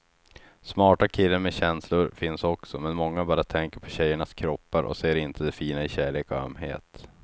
Smarta killar med känslor finns också, men många bara tänker på tjejernas kroppar och ser inte det fina i kärlek och ömhet.